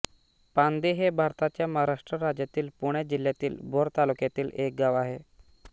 पांदे हे भारताच्या महाराष्ट्र राज्यातील पुणे जिल्ह्यातील भोर तालुक्यातील एक गाव आहे